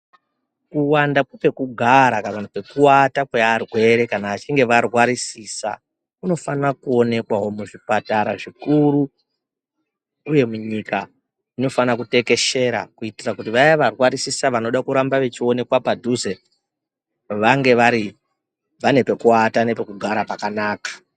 Kuwanda pekwekugara kana kuti pekuwata kwearwere kana achinge arwarisisa kunofanira kuonekwawo muzvipatara zvikuru uye munyika zvinofana kutekeshera kuitira kuti vaya varwarisisa vanoda kuramba vechionekwa padhuze vange vari vane pekuwata nepekugara pakanaka.